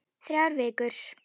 Þrjár vikur.